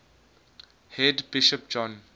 head bishop john